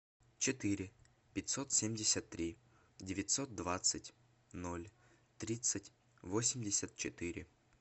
четыре пятьсот семьдесят три девятьсот двадцать ноль тридцать восемьдесят четыре